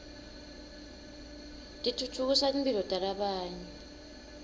titfutfukisa timphilo talabanye